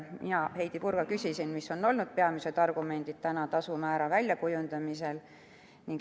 Mina, Heidy Purga, küsisin, mis on olnud peamised argumendid tasumäära väljakujundamisel.